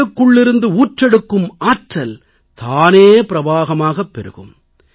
உங்களுக்குள்ளிருந்து ஊற்றெடுக்கும் ஆற்றல் தானே பிரவாகமாகப் பெருகும்